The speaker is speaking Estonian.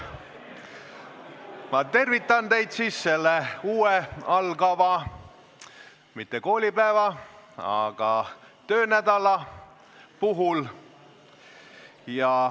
Ma tervitan teid siis mitte uue algava koolipäeva, vaid töönädala puhul.